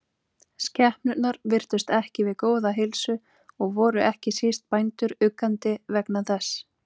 Skepnurnar virtust ekki við góða heilsu og voru ekki síst bændur uggandi vegna þess.